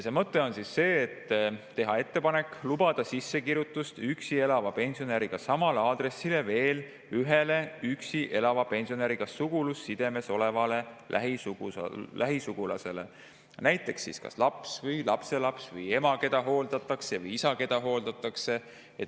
Mõte on see, et teha ettepanek lubada üksi elava pensionäriga samale aadressile sissekirjutust veel ühele üksi elava pensionäriga sugulussidemes olevale lähisugulasele, on see näiteks kas laps või lapselaps või ema, keda hooldatakse, või isa, keda hooldatakse.